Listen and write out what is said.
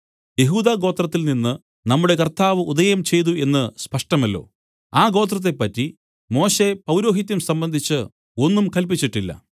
യെഹൂദഗോത്രത്തിൽ നിന്ന് നമ്മുടെ കർത്താവ് ഉദയം ചെയ്തു എന്നു സ്പഷ്ടമല്ലോ ആ ഗോത്രത്തെപ്പറ്റി മോശെ പൗരോഹിത്യം സംബന്ധിച്ച് ഒന്നും കല്പിച്ചിട്ടില്ല